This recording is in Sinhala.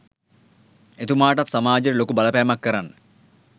එතුමාටත් සමාජයට ලොකු බලපෑමක් කරන්න